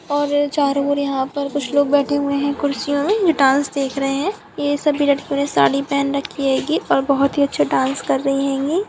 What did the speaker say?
और चारों ओर यहां पर कुछ लोग बैठे हुए हैं कुर्सियों में जो डांस देख रहे हैं ये सभी लड़कियों ने साड़ी पहन रखी हेगी और बहुत अच्छी डांस कर रही हेगी।